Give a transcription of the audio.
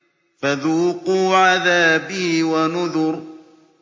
فَذُوقُوا عَذَابِي وَنُذُرِ